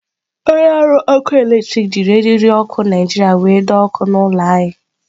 Onye ọrụ ọkụ eletrik jiri eriri okụ Naijiria were doo okụ ụlọ anyị.